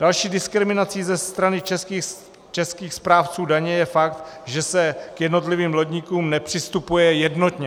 Další diskriminací ze strany českých správců daně je fakt, že se k jednotlivým lodníkům nepřistupuje jednotně.